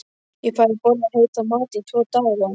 Ég fæ að borða heitan mat í tvo daga.